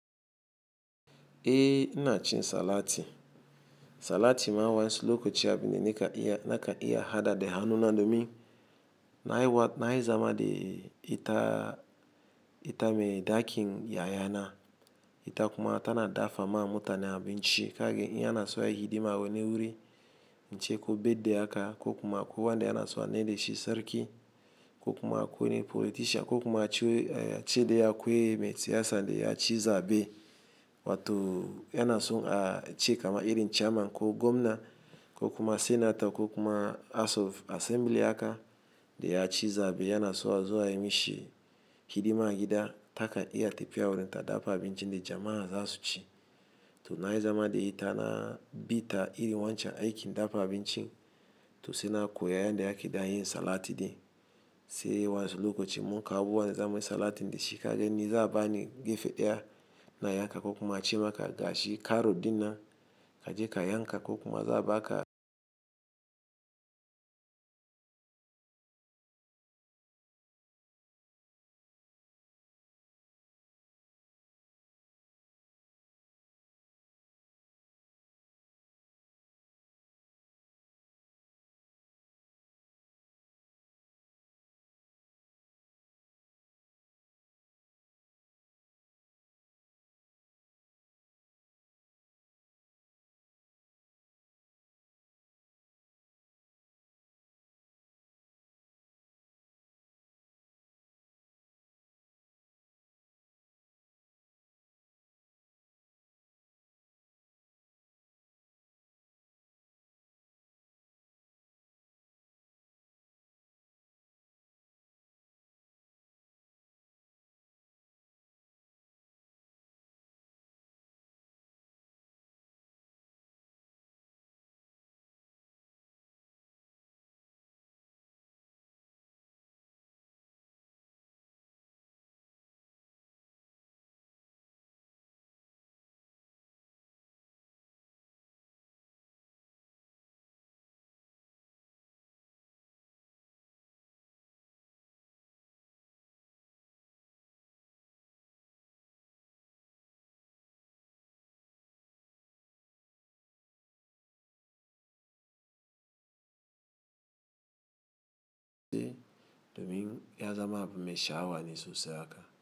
Eh ina cin salati. Salati ma wansi lokoci a bine na ka iya hada da hannu na domin na yi zama da ita mai dakin yayana. Ita kuma tana dafa ma mutane abinci kage ina so yi hidima wani wuri. Inche ko birthday aka, ko kuma kuwa de yana so a maida shi sarki, ko kuma ku wani folitisha, ko kuma cede ya kuye mai siyasa de ya ci zaɓe. Wato yana so a ce kama iri chairman ko gomna ko kuma senator ko kuma asof asembili aka de ya ci zaɓe yana so a zuwa yi mishi hidima gida ta kan iya tafiya wurin ta dafa abinci de jama'a za su ci. To na yi zama da ita na bi ta iri wancan aikin dafa abincin. To sai na koyi yanda ya ke danyun salati de sai wansi lokacin mun kawo wanda zamuyi salati de shi kage ni za bani gefe ɗaya na yanka ko kuma a ci maka gashi karo dina kaje ka yanka ko kuma zaɓa ka. Domin ya zama abune shawa ni su siyo aka.